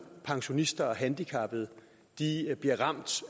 pensionister og handicappede bliver ramt